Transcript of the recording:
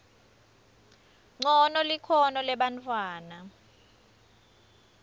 ncono likhono lebantfwana